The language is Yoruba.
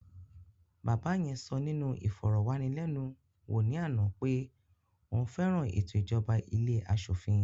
Bàbá yẹn sọ nínú ìfọ̀rọ̀wánilénuwò ní àná pé òun fẹ́ràn ètò ìjọba ilé aṣòfin